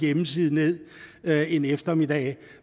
hjemmeside ned en eftermiddag